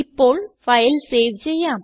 ഇപ്പോൾ file save ചെയ്യാം